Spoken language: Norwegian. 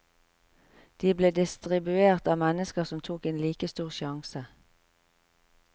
De ble distribuert av mennesker som tok en like stor sjanse.